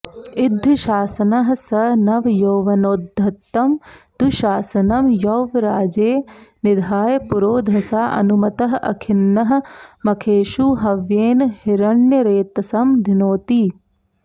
इद्धशासनः सः नवयौवनोद्धतं दुःशासनं यौवराज्ये निधाय पुरोधसा अनुमतः अखिन्नः मखेषु हव्येन हिरण्यरेतसं धिनोति